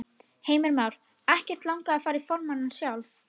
Heimir Már: Ekkert langað að fara í formanninn sjálf?